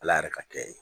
Ala yɛrɛ ka kɛ ye